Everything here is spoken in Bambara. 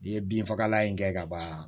I ye bin fagalan in kɛ ka ban